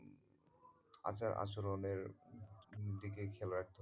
আচার আচরনের দিকে খেয়াল রাখতে হবে।